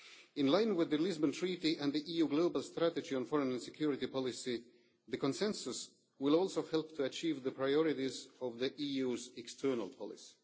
In line with the Lisbon Treaty and the EU global strategy on foreign and security policy, the consensus will also help to achieve the priorities of the EU's external policy.